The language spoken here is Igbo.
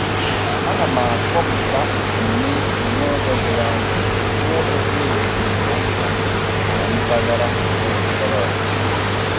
Ana m akọpụta ebumnuche m n'ụzọ doro anya na-egosighi esemokwu na mpaghara ndọrọ ndọrọ ọchịchị.